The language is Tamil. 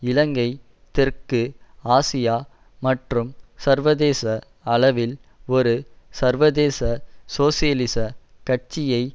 இலங்கை தெற்கு ஆசியா மற்றும் சர்வதேச அளவில் ஒரு சர்வதேச சோசியலிச கட்சியை